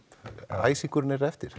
æsingurinn er eftir